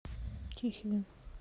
тихвин